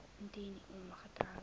indien u ongetroud